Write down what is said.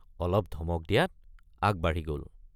অলপ ধমক দিয়াত আগবাঢ়ি গল।